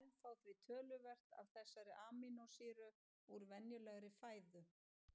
Menn fá því töluvert af þessari amínósýru úr venjulegri fæðu.